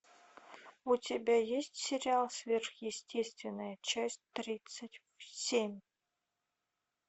у тебя есть сериал сверхъестественное часть тридцать семь